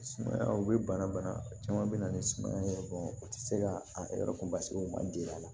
Sumaya o bɛ bana bana caman bɛ na ni suman ye u tɛ se ka a yɔrɔ kunbasigi u man deli a la